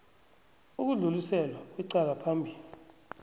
ukudluliselwa kwecala phambili